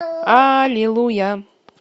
аллилуйя